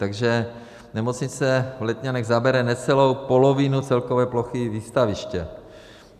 Takže nemocnice v Letňanech zabere necelou polovinu celkové plochy Výstaviště.